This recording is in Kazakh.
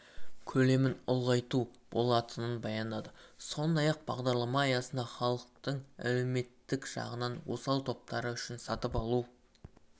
көлемін ұлғайту болатынын баяндады сондай-ақ бағдарлама аясында халықтың әлеуметтік жағынан осал топтары үшін сатып алу